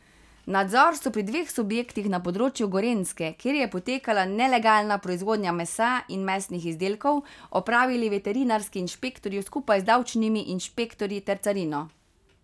Nadzor so pri dveh subjektih na področju Gorenjske, kjer je potekala nelegalna proizvodnja mesa in mesnih izdelkov, opravili veterinarski inšpektorji skupaj z davčnimi inšpektorji ter carino.